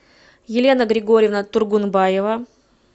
елена григорьевна тургунбаева